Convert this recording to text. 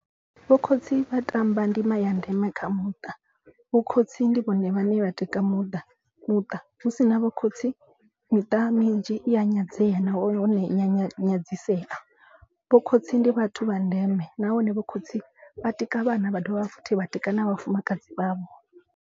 Vho khotsi vha tamba ndima ya ndeme kha muṱa. Vho khotsi ndi vhone vhane vha tika muṱa muṱa hu sina vho khotsi miṱa minzhi i ya nyadzea na hone iya nyadzisea. Vho khotsi ndi vhathu vha ndeme nahone vho khotsi vha tika vhana vha dovha futhi vha tika na vhafumakadzi vhavho.